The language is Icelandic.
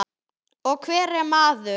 Og hver er maður?